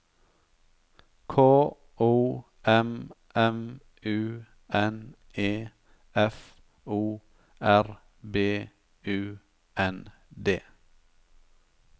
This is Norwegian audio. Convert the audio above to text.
K O M M U N E F O R B U N D